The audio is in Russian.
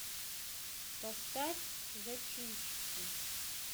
поставь зачинщики